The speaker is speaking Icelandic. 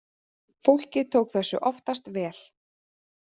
Fólkið tók þessu oftast vel.